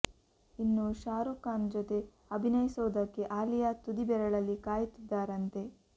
ಇನ್ನು ಶಾರುಖ್ ಖಾನ್ ಜೊತೆ ಅಭಿನಯಿಸೋದಕ್ಕೆ ಆಲಿಯಾ ತುದಿ ಬೆರಳಲ್ಲಿ ಕಾಯುತ್ತಿದ್ದಾರಂತೆ